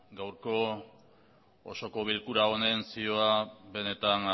gaurko osoko bilkura honen zioa benetan